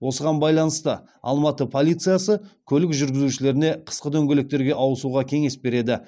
осыған байланысты алматы полициясы көлік жүргізушілеріне қысқы дөңгелектерге ауысуға кеңес береді